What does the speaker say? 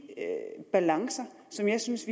balancer som jeg synes